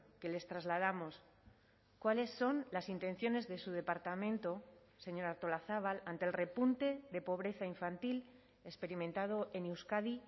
que les trasladamos cuáles son las intenciones de su departamento señora artolazabal ante el repunte de pobreza infantil experimentado en euskadi